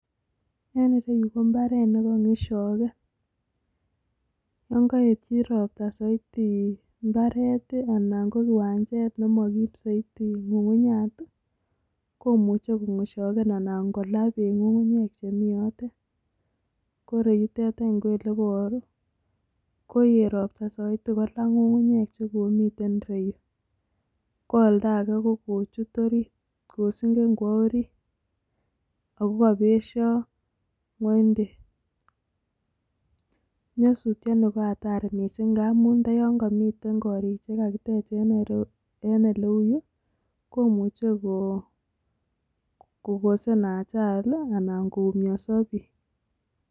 Eng yuuu KO.imbareet nekanyakshageen koeet roots mising kola ngungunyek chekomitei Yun nyasutien nii KO (hatari) amun imuchi kokosen ajali anan koumnyansaa piik